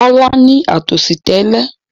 Kọ́lá ní àtọ̀sí tẹ́lẹ̀.